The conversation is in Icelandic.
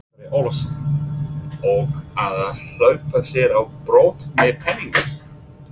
Andri Ólafsson: Og að hleypa sér á brott með peningana?